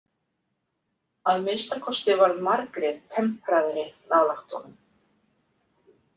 Að minnsta kosti varð Margrét tempraðri nálægt honum.